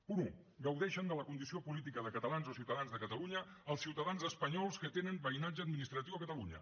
punt un gaudeixen de la condició política de catalans o ciutadans de catalunya els ciutadans espanyols que tenen veïnatge administratiu a catalunya